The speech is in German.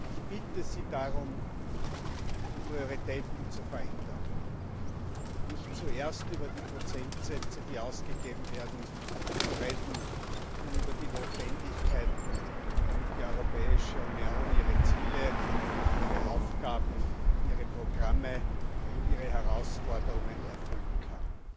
Ich bitte Sie darum, die Prioritäten zu verändern und nicht zuerst über die Prozentsätze, die ausgegeben werden, zu reden, sondern über die Notwendigkeiten, damit die Europäische Union ihre Ziele, ihre Aufgaben, ihre Programme und ihre Herausforderungen erfüllen kann.